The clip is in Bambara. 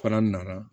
Fana nana